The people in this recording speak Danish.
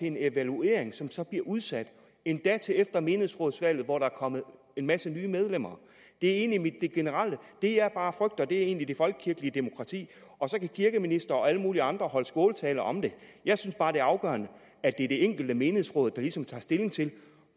en evaluering som bliver udsat endda til efter menighedsrådsvalget hvor der kommer en masse nye medlemmer ind det er det generelle det jeg bare frygter for er det folkelige demokrati kirkeministeren og alle mulige andre kan holde skåltaler om det jeg synes bare at det er afgørende at det er det enkelte menighedsråd der ligesom tager stilling til